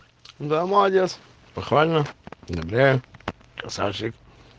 да молодец похвально одобряю красавчик